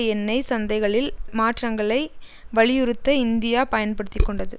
எண்ணெய் சந்தைகளில் மாற்றங்களை வலியுறுத்த இந்தியா பயன்படுத்திக்கொண்டது